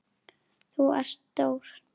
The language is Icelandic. Þú ert stór.